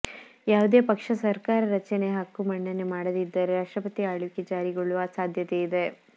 ಯಾವುದೇ ಪಕ್ಷ ಸರ್ಕಾರ ರಚನೆ ಹಕ್ಕು ಮಂಡನೆ ಮಾಡದಿದ್ದರೆ ರಾಷ್ಟ್ರಪತಿ ಆಳ್ವಿಕೆ ಜಾರಿಗೊಳ್ಳುವ ಸಾಧ್ಯತೆ ಇದೆ